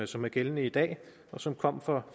som er gældende i dag og som kom for